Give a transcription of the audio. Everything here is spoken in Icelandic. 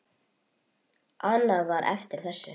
Annað var eftir þessu.